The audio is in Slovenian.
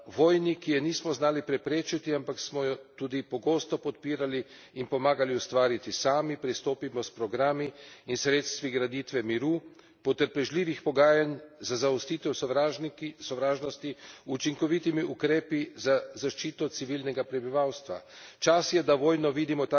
Ali ni to čas, da vojni, ki je nismo znali preprečiti, ampak smo jo tudi pogosto podpirali in pomagali ustvariti sami, pristopimo s programi in sredstvi graditve miru, potrpežljivih pogajanj za zaustavitev sovražnosti, učinkovitimi ukrepi za zaščito civilnega prebivalstva.